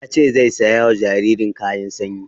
Yace zai saya wa jaririn kayan sanyi